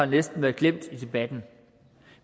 næsten være glemt i debatten